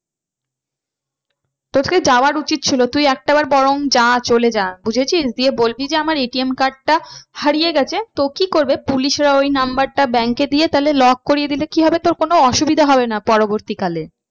তোকে যাওয়া উচিত ছিল তুই একটা বার বরং যা চলে যা বুঝেছিস? গিয়ে বলবি যে আমার ATM card টা হারিয়ে গেছে। তো কি করবে police এরা ওই number টা bank এ দিয়ে তাহলে lock করিয়ে দিলে কি হবে তাহলে তোর কোনো অসুবিধা হবে না পরবর্তী কালে।